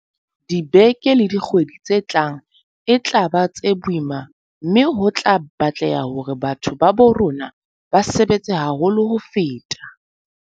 Dibeke le dikgwedi tse tlang e tla ba tse boima mme ho tla batleha hore batho ba bo rona ba sebetse haholo ho feta.